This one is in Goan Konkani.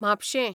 म्हापशें